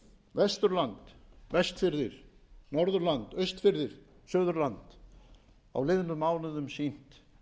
vesturland vestfirðir norðurland austfirðir og suðurland á liðnum mánuðum sýnt